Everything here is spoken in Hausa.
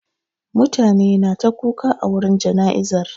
Mutane na ta kuka a wurin jana'izar.